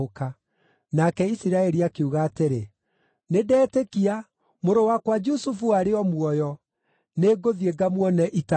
Nake Isiraeli akiuga atĩrĩ, “Nĩndetĩkia! Mũrũ wakwa Jusufu arĩ o muoyo. Nĩngũthiĩ ngamuone itanakua.”